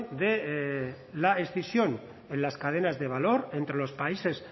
de la escisión en las cadenas de valor entre los países